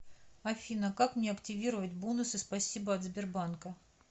афина как мне активировать бонусы спасибо от сбербанка